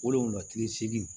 Wolonwula kile seegin